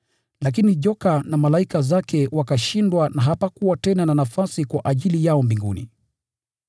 Lakini joka na malaika zake wakashindwa, na hapakuwa tena na nafasi yao huko mbinguni.